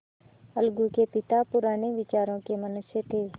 अलगू के पिता पुराने विचारों के मनुष्य थे